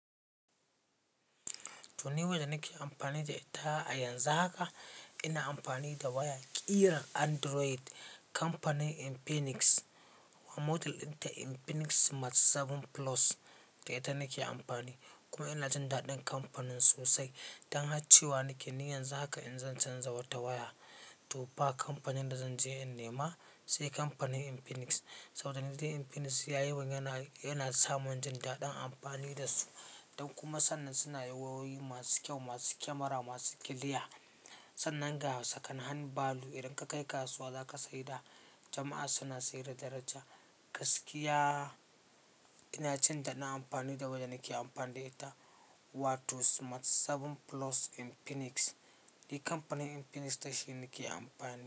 Toni, wayar da nake amfani da ita a yanzu haka ina amfani da waya ƙirar Android. Kamfanin Infinix kuma model ɗinta Infinix Smart 7 Plus. Da ita nake amfani. Kuma ina jin daɗin kamfanin sosai. Don haka cewa nake, ni yanzu haka in zan canza wata waya, to fa kamfanin da zan je in nema sai kamfanin Infinix. Saboda ni dai Infinix yayimun yana, yana samun jin daɗin amfani da su. Don kuma sannan suna yiwo wayoyi masu kyau, masu kyamara, masu kiliya. Sannan ga second hand value idan ka kai kasuwa za ka saida Da jama'a suna sayar da daraja. Gaskiya ina jin daɗin amfani da wayanda nake amfani da ita. Wato Smart 7 Plus Infinix. Ni kamfanin Infinix da shi nake amfani.